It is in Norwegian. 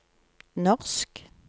norsk